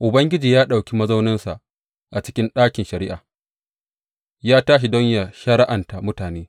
Ubangiji ya ɗauki mazauninsa a cikin ɗakin shari’a; ya tashi don yă shari’anta mutane.